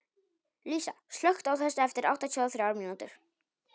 Lísa, slökktu á þessu eftir áttatíu og þrjár mínútur.